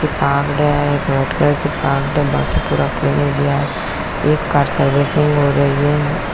बांकी पूरा एक कार सर्विसिंग हो रही है।